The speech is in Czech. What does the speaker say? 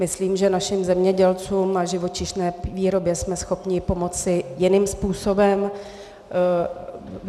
Myslím, že našim zemědělcům a živočišné výrobě jsme schopni pomoci jiným způsobem.